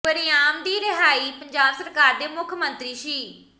ਵਰਿਆਮ ਦੀ ਰਿਹਾਈ ਪੰਜਾਬ ਸਰਕਾਰ ਦੇ ਮੁੱਖ ਮੰਤਰੀ ਸ